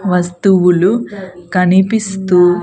వస్తువులు కనిపిస్తూ.